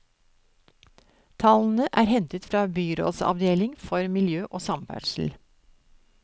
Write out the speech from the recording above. Tallene er hentet fra byrådsavdeling for miljø og samferdsel.